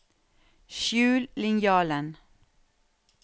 skjul linjalen